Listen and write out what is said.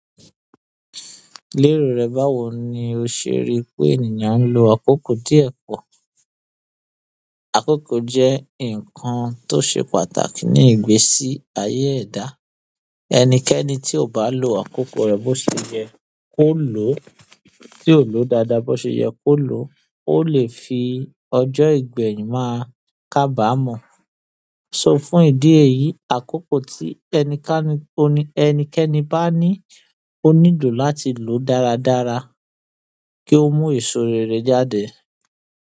Lérò rẹ báwo ni o ṣe ri pé ènìyàn ń lo àkókò díẹ̀ pọ̀? Àkókò jẹ́ nǹkan tó ṣe pàtàkì ní ìgbésí ayé ẹ̀dá. Ẹnikẹ́ni tí ò bá lo àkókó rè b'óseye kó lòó, tí ò lòó dáadáa b'óseye kó lòó, ó lè fi ojó ìgbèyìn ma kábàámò so fún ìdí èyí, àkókò tí ẹnikẹ́ni bá ní, ó nílò láti lòó dáradára kí ó mú èso rere jáde.